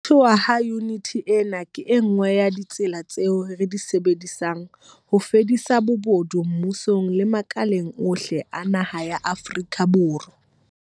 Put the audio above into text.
Ho thehwa ha yuniti ena ke e nngwe ya ditsela tseo re di sebedisang ho fedisa bobodu mmusong le makaleng ohle a naha ya Afrika Borwa.